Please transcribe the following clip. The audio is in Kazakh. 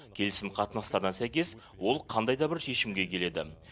келісім қатынастарына сәйкес ол қандай да бір шешімге келеді